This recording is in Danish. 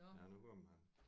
Ja nu kom han